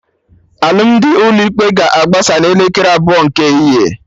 Alụmdi ụlọ ikpe ga-agbasa na elekere abụọ nke ehihie